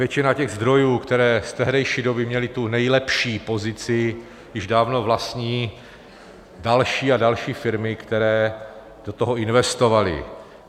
Většina těch zdrojů, které z tehdejší doby měly tu nejlepší pozici, již dávno vlastní další a další firmy, které do toho investovaly.